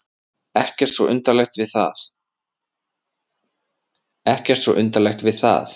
Ekkert svo undarlegt við það.